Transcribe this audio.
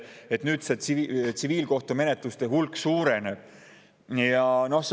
Kas nüüd see tsiviilkohtumenetluste hulk suureneb?